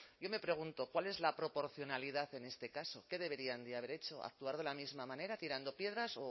yo me pregunto cuál es la proporcionalidad en este caso qué deberían de haber hecho actuar de la misma manera tirando piedras